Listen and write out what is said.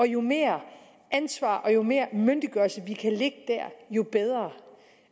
jo mere ansvar og jo mere myndiggørelse vi kan lægge dér jo bedre